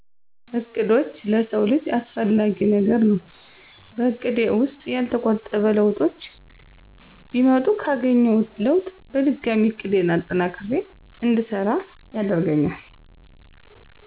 እቅዶች ለሰው ልጀ አሰፍላጊ ነገር ነው በእቀዴ ውሰጥ ያለተጠበቆ ለውጡች ቢመጡ ካገኝውት ለውጥ በድጋሚ እቅዴን አጠናክሪ እድሰራ ያደርገኛል።